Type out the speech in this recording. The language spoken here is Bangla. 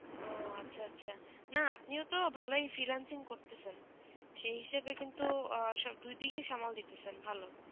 ও আচ্ছা আচ্ছা না আপনিও তো ভালোই freelancing করতেছেন সেই হিসেবে কিন্তু দুই দিকে সামাল দিতেছেন ভালো